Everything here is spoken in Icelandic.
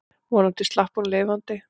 Vonandi slapp hún lifandi.